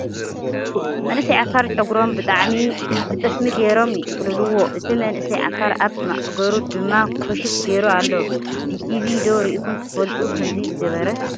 መንእሰይ ዓፋር ጨጉሮም ብጠስሚ ገይሮም ይጥቅልልዋ ። እቲ መንእሰይ ዓፋር ኣብ ማዕገሩ ድማ ኮሽፍ ገይሩ ኣሎ ። ብቲቪ ዶ ሪኢኩም ትፈልጡ ከምዚ ዝገበረ ?